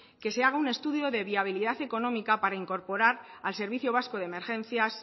que se haga un estudio de viabilidad económica para incorporar al servicio vasco de emergencias